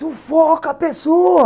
Sufoca a pessoa.